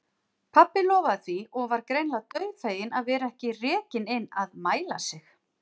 Pabbi lofaði því og var greinilega dauðfeginn að vera ekki rekinn inn að mæla sig.